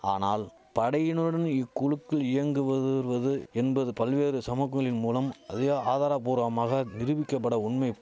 ஆனால் படையினருடன் இக்குழுகள் இயங்குவதுருவது என்பது பல்வேறு சமகூலி மூலம் அதி ஆதாரபூர்வமாக நிரூபிக்கபட உண்மை